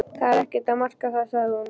Það er ekkert að marka það sagði hún.